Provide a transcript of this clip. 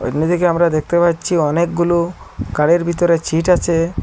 সামনের দিকে আমরা দেখতে পাচ্ছি অনেকগুলো গাড়ির ভেতরে ছিট আছে।